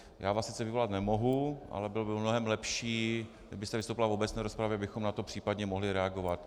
Já vás sice vyvolat nemohu, ale bylo by mnohem lepší, kdybyste vystoupila v obecné rozpravě, abychom na to případně mohli reagovat.